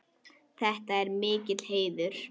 Þetta er mikill heiður.